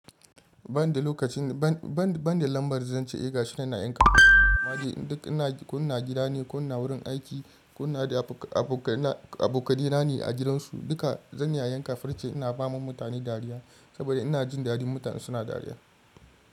Banda lambar zance 86 na yanka amadi duk kunna gidane, kunna wurin aiki, kunna da abokanai ne a gidansu duka zan yi yanka farce ina ba ma mutane dariya saboda ina jin dari mutane suna dariya.